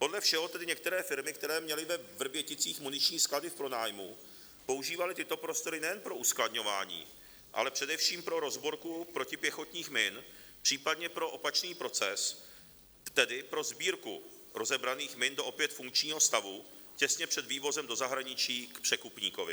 Podle všeho tedy některé firmy, které měly ve Vrběticích muniční sklady v pronájmu, používaly tyto prostory nejen pro uskladňování, ale především pro rozborku protipěchotních min, případně pro opačný proces, tedy pro sbírku rozebraných min do opět funkčního stavu těsně před vývozem do zahraničí k překupníkovi.